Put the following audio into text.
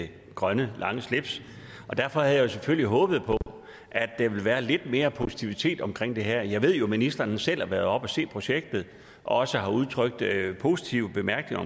det grønne lange slips derfor havde jeg jo selvfølgelig håbet på at der ville være lidt mere positivitet omkring det her jeg ved jo at ministeren selv har været oppe at se projektet og også har udtrykt positive bemærkninger